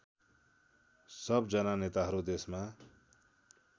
सबजना नेताहरू देशमा